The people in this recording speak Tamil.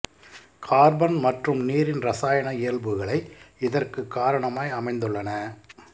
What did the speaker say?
கார்பன் மற்றும் நீரின் இரசாயன இயல்புகள் இதற்குக் காரணமாய் அமைந்துள்ளன